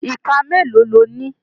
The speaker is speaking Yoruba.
Iká mélòó lo ní?